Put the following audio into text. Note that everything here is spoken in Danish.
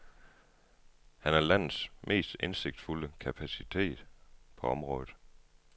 Han er landets mest indsigtsfulde kapacitet på området.